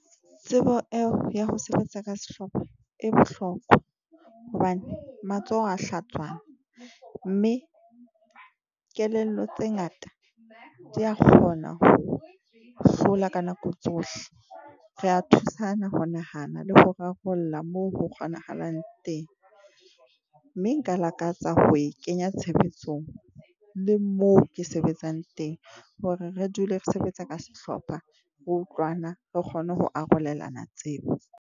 Tsebo eo ya ho sebetsa ka sehlopha e bohlokwa hobane matsoho a hlatswana mme kelello tse ngata, di ya kgona ho hlola ka nako tsohle. Re a thusana ho nahana le ho rarolla mo ho kgonahalang teng, mme nka lakatsa ho e kenya tshebetsong le moo ke sebetsang teng hore re dule re sebetsa ka sehlopha re utlwana, re kgone ho arolelana tsebo.